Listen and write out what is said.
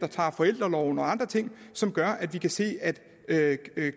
tager forældreorloven og andre ting som gør at vi kan se at at